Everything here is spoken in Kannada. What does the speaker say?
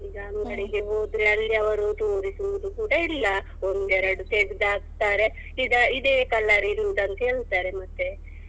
ಈಗ ಅಂಗಡಿಗೆ ಹೋದ್ರೆ ಅಲ್ಲಿ ಅವ್ರು ತೋರಿಸುವುದು ಕೂಡ ಇಲ್ಲ ಒಂದೆರಡು ತೆಗ್ದ್ ಹಾಕ್ತಾರೆ ಇದಾ~ ಇದೇ colour ಇರುವುದು ಅಂತ ಹೇಳ್ತಾರೆ ಮತ್ತೆ.